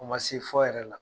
O ma se fɔ yɛrɛ la.